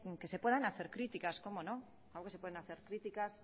que se puedan hacer críticas como no claro que se pueden hacer críticas